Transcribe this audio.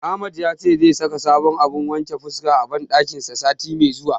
Ahmad yace zai saka sabon abun wajen wanke fuska a banɗakin sa sati mai zuwa.